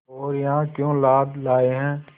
और यहाँ क्यों लाद लाए हैं